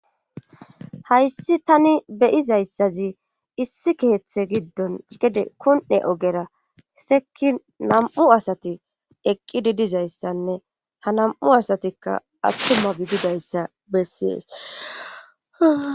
Hayssi tani beyizayssazi issi kiheththe giddon gede kon'e ogera seki nam'u asati eqqi didizayssanne ha nam'u asatikka attuma bididayssa bessiees